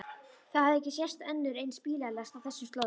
Það hafði ekki sést önnur eins bílalest á þessum slóðum.